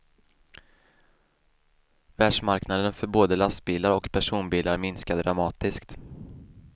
Världsmarknaden för både lastbilar och personbilar minskar dramatiskt.